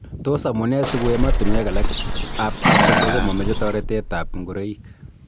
Tos amune siko emotunwek alak ab Afrika komomeche toretet ab ngoroik?